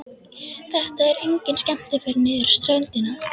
Þetta er engin skemmtiferð niður á ströndina.